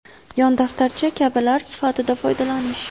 yon daftarcha kabilar sifatida foydalanish;.